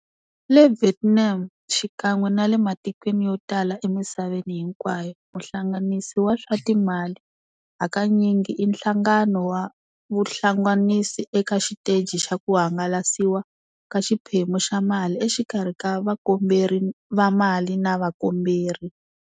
Le Vietnam xikan'we nale matikweni yotala emisaveni hinkwayo, muhlanganisi wa swa timali hakanyingi i nhlangano wa vuhlanganisi eka xiteji xa ku hangalasiwa ka xiphemu xa mali exikarhi ka vakomberi va mali na vakomberi.